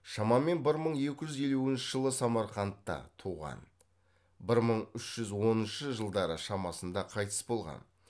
шамамен бір мың екі жүз елуінші жылы самарқандта туған бір мың үш жүз оныншы жылдары шамасында қайтыс болған